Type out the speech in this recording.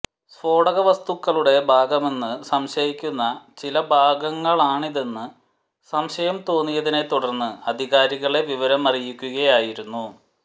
സ്ഫോടക വസ്തുക്കളുടെ ഭാഗമെന്ന് സംശയിക്കുന്ന ചില ഭാഗങ്ങളാണിതെന്ന് സംശയം തോന്നിയതിനെ തുടര്ന്ന് അധികാരികളെ വിവരമറിയിക്കുകയായിരുന്നു